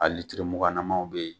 A litiri muganamaw bɛ yen